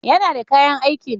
Yana da kayan aikin.